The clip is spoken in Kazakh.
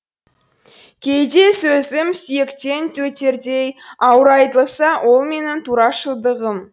кейде сөзім сүйектен өтердей ауыр айтылса ол менің турашылдығым